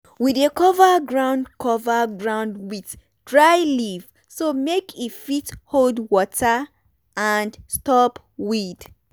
we dey cover ground cover ground with dry leaf so make e fit hold water and stop weed.